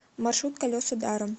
маршрут колеса даром